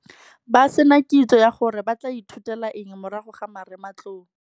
Ba se na kitso ya gore ba tla ithutela eng morago ga marematlou.